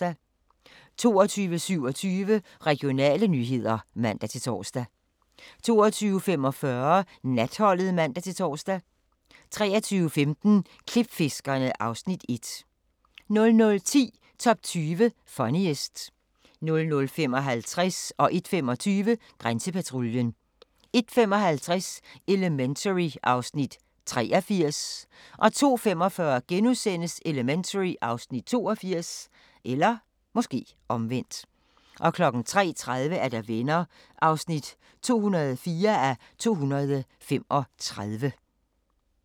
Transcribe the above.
22:27: Regionale nyheder (man-tor) 22:45: Natholdet (man-tor) 23:15: Klipfiskerne (Afs. 1) 00:10: Top 20 Funniest 00:55: Grænsepatruljen 01:25: Grænsepatruljen 01:55: Elementary (Afs. 83) 02:45: Elementary (Afs. 82)* 03:30: Venner (204:235)